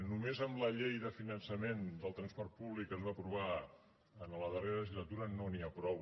només amb la llei de finançament del transport públic que es va aprovar en la darrera legislatura no n’hi ha prou